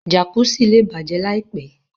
Jàkùsí lẹ́ bájẹ láìpẹ̀.